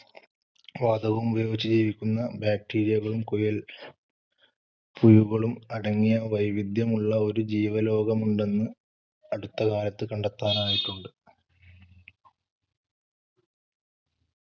വാതകവുമുപയോഗിച്ച് ജീവിക്കുന്ന bacteria കളും കുയൽ പുയുകളും അടങ്ങിയ വൈവിദ്ധ്യമുള്ള ഒരു ജീവലോകമുണ്ടെന്ന് അടുത്തകാലത്ത് കണ്ടെത്താനായിട്ടുണ്ട്.